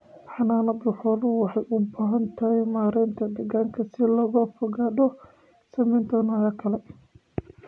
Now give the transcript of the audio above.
Xanaanada xooluhu waxay u baahan tahay maaraynta deegaanka si looga fogaado saamaynta noocyada kale.